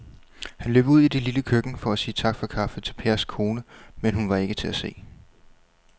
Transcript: Han løb ud i det lille køkken for at sige tak for kaffe til Pers kone, men hun var ikke til at se.